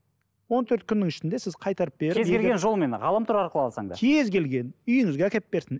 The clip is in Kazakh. он төрт күннің ішінде сіз қайтарып беріп кез келген жолымен ғаламтор арқылы алсаң да кез келген үйіңізге әкеліп берсін